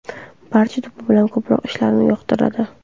Barcha to‘p bilan ko‘proq ishlashni yoqtiradi.